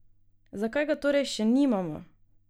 Zakaj ga torej še nimamo?